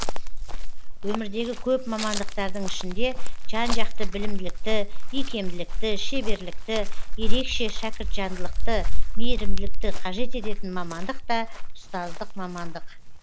өмірдегі көп мамандықтардың ішінде жан жақты білімділікті икемділікті шеберлікті ерекше шәкіртжандылықты мейірімділікті қажет ететін мамандық та ұстаздық мамандық